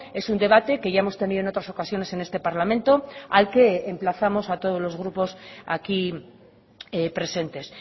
es un debate que ya hemos tenido en otras ocasiones en este parlamento al que emplazamos a todos los grupos aquí presentes